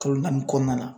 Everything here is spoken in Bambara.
Kalo naani kɔnɔna na